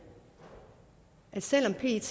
at selv om pet